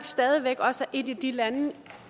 stadig væk også et af de lande